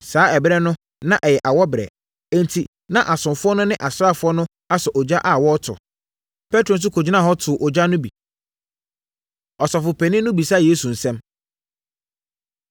Saa ɛberɛ no na ɛyɛ awɔberɛ, enti na asomfoɔ no ne asraafoɔ no asɔ ogya a wɔreto. Petro nso kɔgyinaa hɔ too ogya no bi. Ɔsɔfopanin No Bisa Yesu Nsɛm